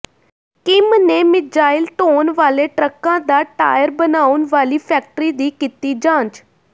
Kim ਨੇ missile ਢੋਣ ਵਾਲੇ ਟਰੱਕਾਂ ਦਾ ਟਾਇਰ ਬਣਾਉਣ ਵਾਲੀ ਫੈਕਟਰੀ ਦੀ ਕੀਤੀ ਜਾਂਚ